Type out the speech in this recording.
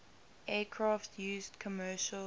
aircraft used commercial